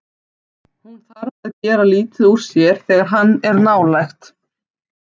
Hún þarf að gera lítið úr sér þegar hann er nálægt.